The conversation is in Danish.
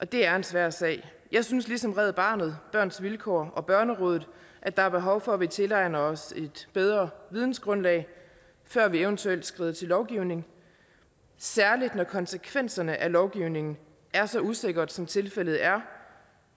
det er en svær sag jeg synes ligesom red barnet børns vilkår og børnerådet at der er behov for at vi tilegner os et bedre vidensgrundlag før vi eventuelt skrider til lovgivning særlig når konsekvenserne af lovgivningen er så usikre som tilfældet er